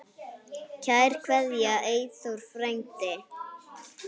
Kær kveðja, Eyþór frændi.